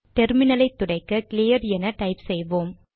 டெர்மினலை துடைக்க கிளியர் என டைப் செய்வோம்